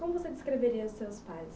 Como você descreveria os seus pais?